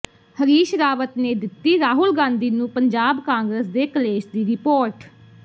ਹਰੀਸ਼ ਰਾਵਤ ਨੇ ਦਿੱਤੀ ਰਾਹੁਲ ਗਾਂਧੀ ਨੂੰ ਪੰਜਾਬ ਕਾਂਗਰਸ ਦੇ ਕਲੇਸ਼ ਦੀ ਰਿਪੋਰਟ